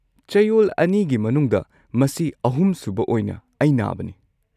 ꯆꯌꯣꯜ ꯑꯅꯤꯒꯤ ꯃꯅꯨꯡꯗ ꯃꯁꯤ ꯑꯍꯨꯝ ꯁꯨꯕ ꯑꯣꯏꯅ ꯑꯩ ꯅꯥꯕꯅꯤ꯫